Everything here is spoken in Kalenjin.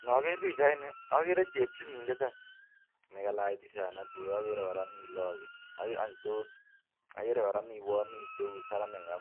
Ni ager pichaini, agere chep chumbek ak loog. Logok chu ko mengechen nia.